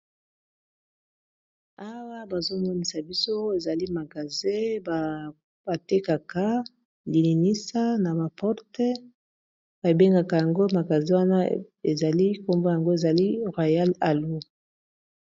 Awa bazomomisa biso ezali magasin batekaka lilinisa na ma porte babengaka yango magasin wana ezali nakombo yango ezali Royal Alu.